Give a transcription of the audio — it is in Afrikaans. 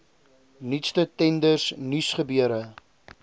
nuutste tenders nuusgebeure